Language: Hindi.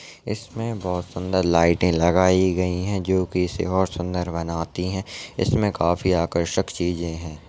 इस मे बहुत सुंदर लाइटे लगाई गई हैं जो की इसे और सुंदर बनाती है इसमे काफी आकर्षक चीज़े है।